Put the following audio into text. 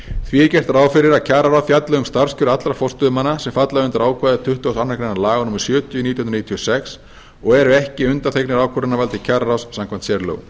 því er gert ráð fyrir að kjararáð fjalli um starfskjör allra forstöðumanna sem falla undir ákvæði tuttugasta og aðra grein laga númer sjötíu nítján hundruð níutíu og sex og eru ekki undanþegnir ákvörðunarvaldi kjararáðs samkvæmt sérlögum